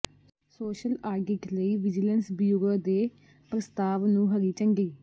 social audit ਲਈ vigilance bureau ਦੇ ਪ੍ਰਸਤਾਵ ਨੂੰ ਹਰੀ ਝੰਡੀ